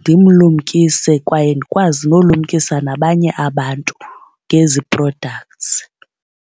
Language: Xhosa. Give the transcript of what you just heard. Ndimlumkise kwaye ndikwazi nolumkisa nabanye abantu ngezi products.